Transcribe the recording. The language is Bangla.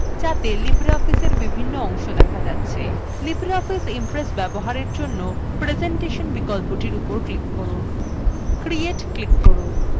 libreoffice impress ব্যবহারের জন্য নতুন dialog boxin presentation বিকল্পটির উপর click করুন create click করুন